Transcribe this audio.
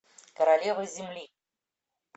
королева земли